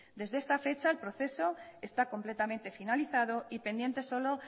desde esta fecha el proceso está completamente finalizado y pendiente solo